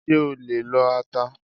Ṣé o lè lo ata?